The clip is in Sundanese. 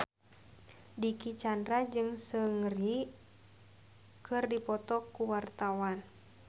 Dicky Chandra jeung Seungri keur dipoto ku wartawan